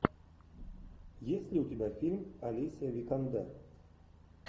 есть ли у тебя фильм алисия викандер